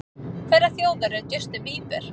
Hverrar þjóðar er Justin Bieber?